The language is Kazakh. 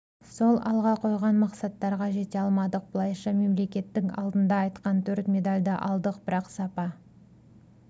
сол алға қойған мақсаттарға жете алмадық былайша мемлекеттің алдында айтқан төрт медальды алдық бірақ сапа